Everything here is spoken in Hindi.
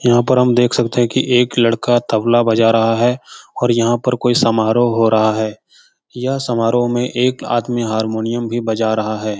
यहाँ पर हम देख सकते हैं की एक लड़का तबला बजा रहा है और यहाँ पर कोई समारोह हो रहा है यह समारोह में एक आदमी हारमोनियम भी बजा रहा है।